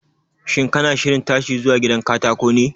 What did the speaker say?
Shin kana shirin tashiwa zuwa gidan katako ne?